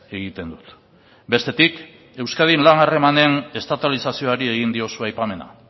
egiten dut bestetik euskadin lan harremanen estatalizazioari egin diozu aipamena